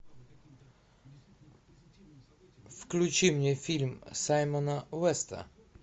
включи мне фильм саймона уэста